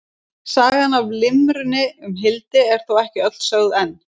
Sagan af limrunni um Hildi er þó ekki öll sögð enn.